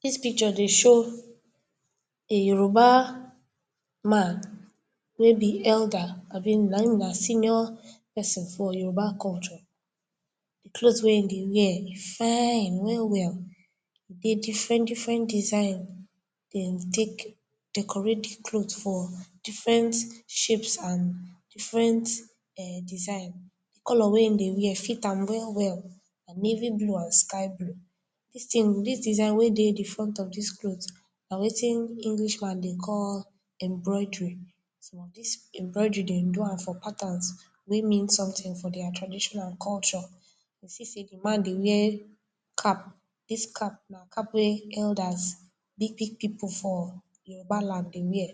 Dis picture dey show a Yoruba man abi na him eider abi na him na senior person for Yoruba culture, cloth wey him dey wear fine well well, get different different design dem take decorate di cloth for different shapes and different design, di color wey him dey wear fit am well well, na navy blue and sky blue, dis tin, dis design we dey di front of dis cloth na wetin English many dey call embroidery, dis embroidery dem do am for patterns wey mean something for dia tradition and culture, see say di man dey wear cap, na cap wey elders, big big people for Yoruba land dey wear,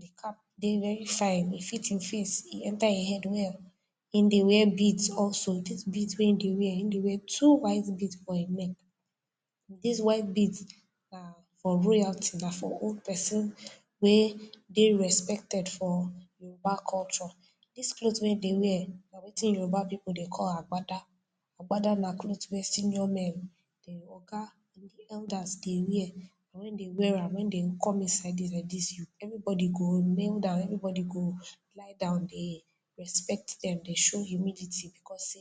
di cap dey very fine, ẹ fit him face, enter him head well, him dey wear beads also, him Dey wear two white beads for him neck, dis white bead na for royalty, na for old person wey dey respected for Yoruba culture, dis cloth wey him dey wear na wetin Yoruba people dey call agbada, agbada na cloth wey senior men dey waka, elders dey wear, when dey wear am, dey come inside like dis everybody go kneel down, everybody go lie down, dey respect dey, dey show humility because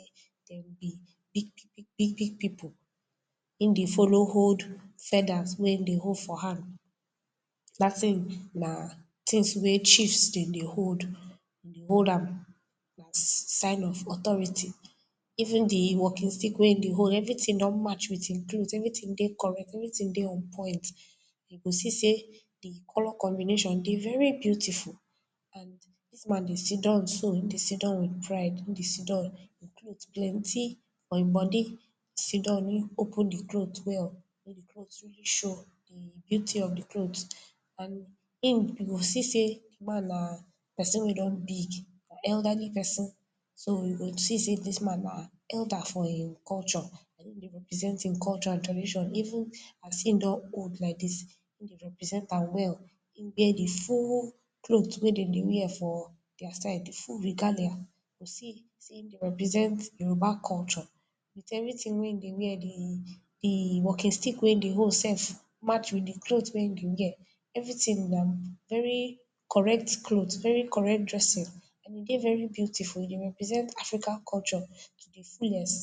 dey bi dey bi big big people, him dey follow hold feathers wey him dey hold for hand, Dat tin na tins cheifs dey hold, hold am, sign of authority, even di walking stick wey him dey hold, everything don match with him cloth, everything dey correct, everything dey on point, you go see say di color combination dey very beautiful and dis man dey siddon so, him dey siddon with pride, in dey siddon, cloth plenty for e body, in siddon, in open di cloth well may di cloth really show di beauty of di cloth and in go see say di man na person wey don big, elderly person, so you go see say dis man na elder for him culture, him dey represent his culture and tradition even as him don old like dis, him represent am well, him get di full cloth wear dem dey wear for dia side, di full regalia as him represent Yoruba culture, with everything wey him dey wear dey, him walking stick wey in dey hold self match with di cloth e dey wear, everything na correct cloth very correct dressing and e dey very beautiful and dey represent African culture to di fullest